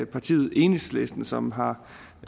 partiet enhedslisten som har